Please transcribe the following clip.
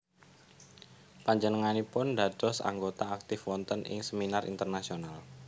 Panjenganipun dados anggota aktif wonten ing seminar internasional